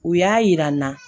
U y'a yira n na